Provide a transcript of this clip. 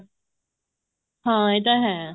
ਹਾਂ ਇਹ ਤਾਂ ਹੈ